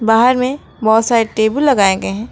बाहर में बहोत सारे टेबुल लगाएं गये है।